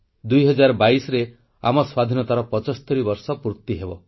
2022ରେ ଆମ ସ୍ୱାଧୀନତାର 75 ବର୍ଷ ପୂର୍ତ୍ତି ହେବ